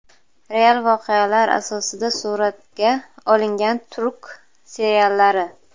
Real voqealar asosida suratga olingan turk seriallari.